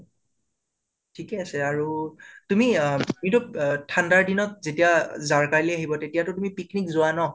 থিকে আছে আৰু তুমি অহ ঠান্দাৰ দিনত যেতিয়া যাৰকালি আহিব তেতিয়াতো তুমি picnic যোৱা ন?